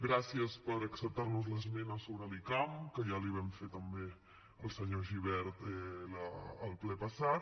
gràcies per acceptar nos l’esmena sobre l’icam que ja li vam fer també al senyor gibert al ple passat